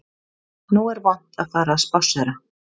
Nú er vont að fara að spásséra